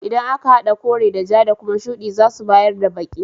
Idan aka hada kore da ja da kuma shudi zasu bayar da baki.